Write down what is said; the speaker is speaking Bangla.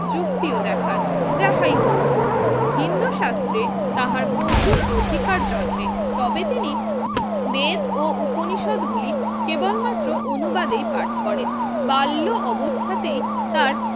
যুক্তিও দেখান যাহাই হোক হিন্ধু শাস্ত্রে তাহার প্রচুর অধিকার জম্মে তবে তিনি বেদ ও উপনিষদ গুলি কেবলমাত্ৰ অনুবাদে পাঠ করেন বাল্য অবস্থাতেই তার